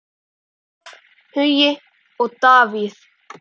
Ólöf, Hugi og David.